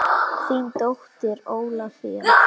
Þín dóttir Ólafía.